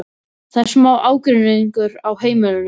Það er smá ágreiningur á heimilinu.